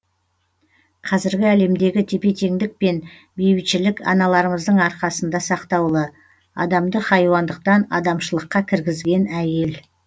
қазіргі әлемдегі тепе теңдік пен бейбітшілік аналарымыздың арқасында сақтаулы адамды хайуандықтан адамшылыққа кіргізген әйел